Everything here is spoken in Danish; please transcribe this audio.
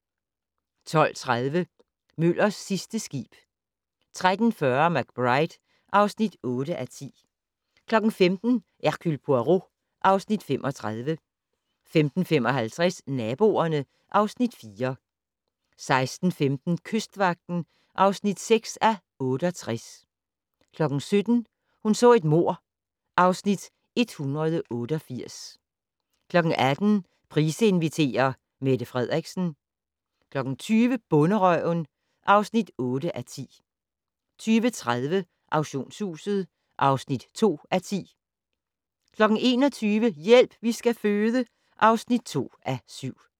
12:30: Møllers sidste skib 13:40: McBride (8:10) 15:00: Hercule Poirot (Afs. 35) 15:55: Naboerne (Afs. 4) 16:15: Kystvagten (6:68) 17:00: Hun så et mord (Afs. 188) 18:00: Price inviterer - Mette Frederiksen 20:00: Bonderøven (8:10) 20:30: Auktionshuset (2:10) 21:00: Hjælp, vi skal føde (2:7)